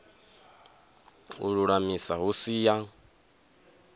u lulamisa hu si ya